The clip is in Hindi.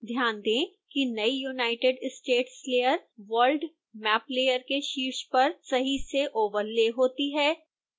ध्यान दें कि नई united states layer world map layer के शीर्ष पर सही से ओवरले होती है